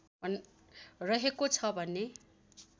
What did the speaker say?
रहेको छ भने